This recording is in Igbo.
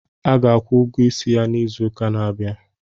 A ga-akwụ ụgwọ isi ya izụka n'abia abịa.